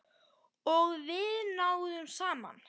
Og við náðum saman.